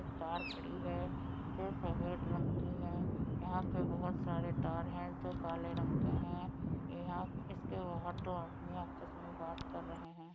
Car खड़ी है जो सफ़ेद रंग की है यहाँ पे बोहत सारे तार हैं जो काले रंग के हैं। ए यहाँ इसके बाहर दो आदमी आपस मे बात कर रहे हैं।